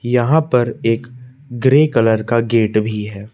यहां पर एक ग्रे कलर का गेट भी है।